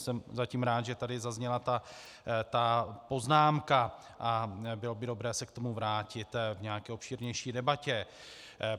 Jsem zatím rád, že tady zazněla ta poznámka, a bylo by dobré se k tomu vrátit v nějaké obšírnější debatě.